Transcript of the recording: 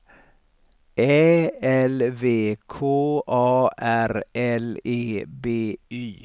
Ä L V K A R L E B Y